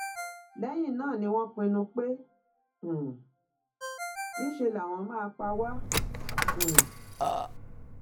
lẹyìn náà ni wọn pinnu pé um ńṣe làwọn máa pa wá um